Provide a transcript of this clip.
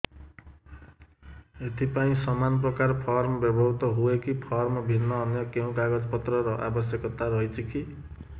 ଏଥିପାଇଁ ସମାନପ୍ରକାର ଫର୍ମ ବ୍ୟବହୃତ ହୂଏକି ଫର୍ମ ଭିନ୍ନ ଅନ୍ୟ କେଉଁ କାଗଜପତ୍ରର ଆବଶ୍ୟକତା ରହିଛିକି